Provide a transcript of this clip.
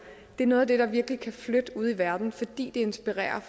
det er noget af det der virkelig kan flytte ude i verden fordi det inspirerer